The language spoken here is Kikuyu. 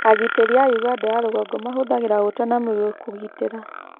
Agitĩri a Ũganda ya rũgongo mahũthagĩra ũta na mĩguĩ kũgitĩra